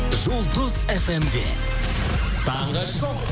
жұлдыз фмде таңғы шоу